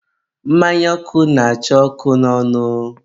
mmanya ọkụ na-acha ọkụ n'ọnụ.